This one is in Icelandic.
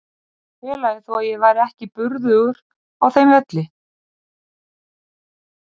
Ég var félagi þó að ég væri ekki burðugur á þeim velli.